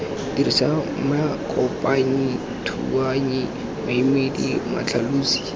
dirisa makopanyi dithuanyi maemedi matlhalosi